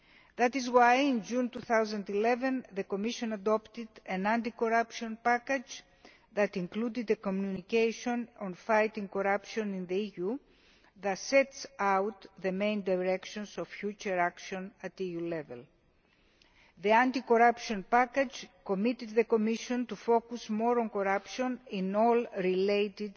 That is why, in June 2011, the Commission adopted an anti corruption package that included a communication on fighting corruption in the EU, that sets out the main directions of future action at EU level. The anti corruption package committed the Commission to focusing more on corruption in all related